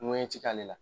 Ŋɛɲɛti k'ale la